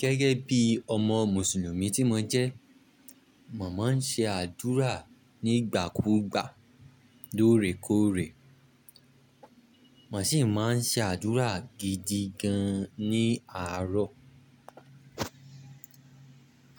Gẹ́gẹ́ bí ọmọ mùsùlùmí tí mo jẹ́, mà maan ṣe àdúrà nígbà kúgbà, lóòrèkóòrè. Mà ṣì máa n ṣe àdúrà gidi gan ní àárọ̀